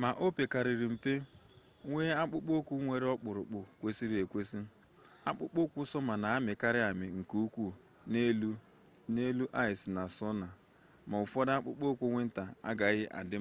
ma ọ pekarịa mpe nwee akpụkpọ ụkwụ nwere okpuru kwesịrị ekwesị akpụkpọ ụkwụ sọma na-amịkarị amị nke ukwuu n'elu aịs na sno ma ụfọdụ akpụkpọ ụkwụ wịnta agaghị adị